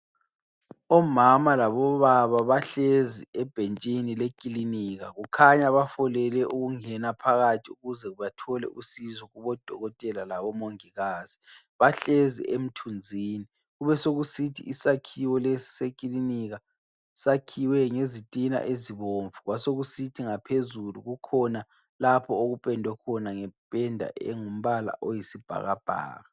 Omama labo baba bahlezi ebhentshini lekilinika kukhanya bafolele ukungena phakathi ukuze bathole usizo kubodokotela labomongikazi ,bahlezi emthuzini kube sokusithi isakhiwo lesi sekilinika sakhiwe ngezitina ezibomvu kwasekusithi ngaphezulu kukhona lapho okupendwe khona ngependa elombala oyisibhakabhaka.